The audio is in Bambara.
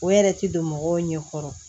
O yɛrɛ ti don mɔgɔw ɲɛ kɔrɔ